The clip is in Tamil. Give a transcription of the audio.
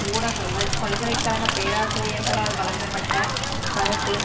ஊடகங்கள் பல்கலை கழக பேராசிரியர்களால் வழங்கப்பட்ட கருத்து